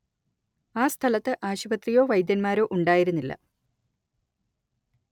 ആ സ്ഥലത്ത് ആശുപത്രിയോ വൈദ്യന്മാരോ ഉണ്ടായിരുന്നില്ല